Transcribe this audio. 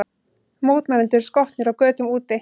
Mótmælendur skotnir á götum úti